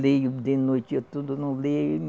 Leio de noite, eu tudo não leio.